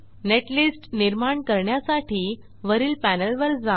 netlist निर्माण करण्यासाठी वरील पॅनेलवर जा